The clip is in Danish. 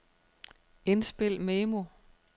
indspil memo